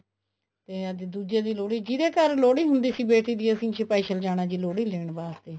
ਤੇ ਅੱਜ ਦੂਜੇ ਦੀ ਲੋਹੜੀ ਜਿਹਦੇ ਘਰ ਲੋਹੜੀ ਹੁੰਦੀ ਸੀ ਬੇਟੀ ਦੀ ਅਸੀਂ special ਜਾਣਾ ਜੀ ਲੋਹੜੀ ਲੈਣ ਵਾਸਤੇ